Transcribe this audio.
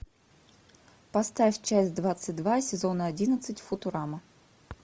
поставь часть двадцать два сезона одиннадцать футурама